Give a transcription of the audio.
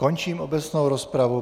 Končím obecnou rozpravu.